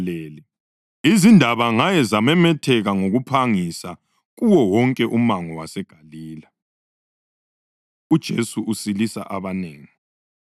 Izindaba ngaye zamemetheka ngokuphangisa kuwo wonke umango waseGalile. UJesu Usilisa Abanengi